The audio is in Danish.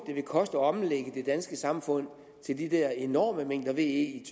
det vil koste at omlægge det danske samfund til de der enorme mængder ve i